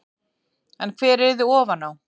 En hver yrði ofan á?